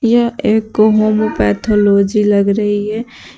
यह एक पैथोलॉजी लग रही है।